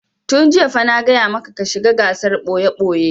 Tun jiya fa na gaya maka ka shiga gasar ɓoye-ɓoye!